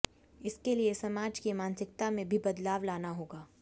इसके लिए समाज की मानसिकता में भी बदलाव लाना होगा